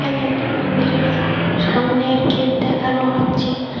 এখানে একটি মন্দিরের ফ সামনের গেট দেখানো হচ্ছে।